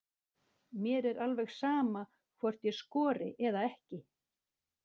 Mér er alveg sama hvort ég skori eða ekki.